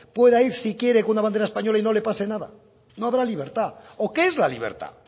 pueda ir si quiere con una bandera española y no le pase nada no habrá libertad o qué es la libertad